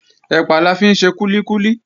Ẹ̀pà la fi ń ṣe kúlíkúlí